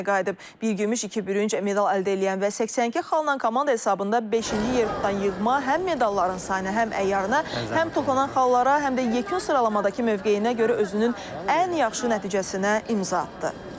Bir gümüş, iki bürünc medal əldə eləyən və 82 xalla komanda hesabında beşinci yer tutan yığma həm medalların sayına, həm əyyarına, həm toplanan xallara, həm də yekun sıralamadakı mövqeyinə görə özünün ən yaxşı nəticəsinə imza atdı.